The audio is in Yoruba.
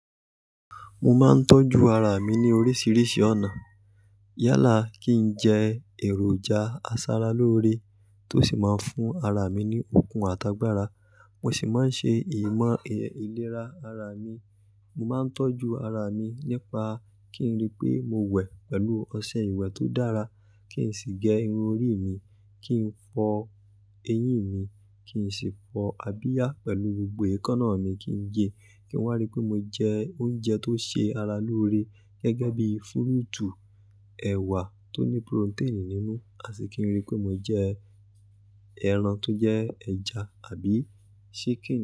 Mo máa ń tọ́jú ara mi ní oríṣiríṣi ọ̀nà. Yálà kí n jẹ èròjà asara lóore tó sì máa ń fún ara mi ní okun àtàgbàra. Mo sì máa ń ṣe ìmọ̀ ìlera ara mi. Mo máa ń tọ́jú ara mi nípa kí n rí pé mo wẹ̀ pẹ̀lú ọṣẹ ìwẹ̀ tó dára, kí n sì gẹ irun orí mi, kí n fọ eyín mi, kí n sì fọ abiyá pẹ̀lú gbogbo èékánná mi kí n gẹ. Kí n wá rí pé mo jẹ oúnjẹ tó ṣe ara lóore gẹ́gẹ́ bí fúrúùtù, ẹ̀wà tó ní poróténì nínú, àti kí n rí pé mo jẹ ẹran tó jẹ́ ẹja àbí ṣíkìn.